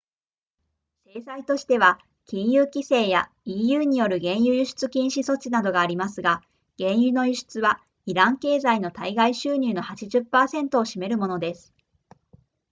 制裁としては金融規制や eu による原油輸出禁止措置などがありますが原油の輸出はイラン経済の対外収入の 80% を占めるものです